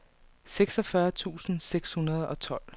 seksogfyrre tusind seks hundrede og tolv